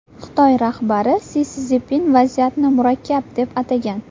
Xitoy rahbari Si Szinpin vaziyatni murakkab deb atagan .